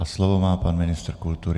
A slovo má pan ministr kultury.